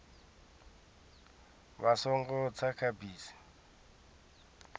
vha songo tsa kha bisi